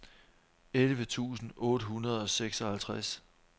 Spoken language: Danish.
elleve tusind otte hundrede og seksoghalvtreds